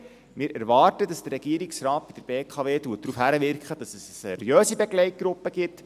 Wir erwarten, dass der Regierungsrat bei der BKW darauf hinwirkt, dass es eine seriöse Begleitgruppe gibt.